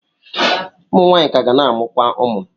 Ụmụ nwaanyị ka ga na-amụkwa ụmụ.